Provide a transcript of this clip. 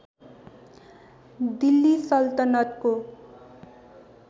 Delhi सल्तनतको